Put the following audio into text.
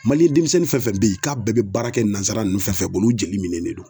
demisɛnnin fɛn fɛn be ye k'a bɛɛ be baara kɛ nansara ninnu fɛn fɛn bolo u jeli minenen don.